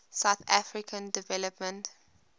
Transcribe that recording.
southern african development